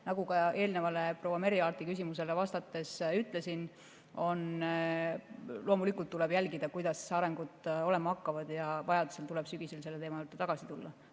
Nagu ka eelnevale, proua Merry Aarti küsimusele vastates ütlesin, tuleb loomulikult jälgida, kuidas arengud hakkavad olema, ja vajadusel tuleb sügisel selle teema juurde tagasi tulla.